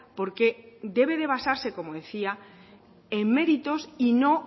porque debe de basarse como decía en méritos y no